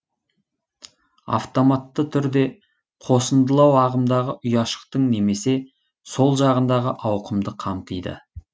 автоматты түрде қосындылау ағымдағы ұяшықтың немесе сол жағындағы ауқымды қамтиды